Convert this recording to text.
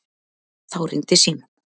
Þá hringdi síminn.